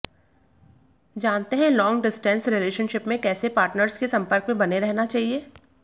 जानते हैं long distance relationship में कैसे पार्टनर्स के संपर्क में बने रहना चाहिए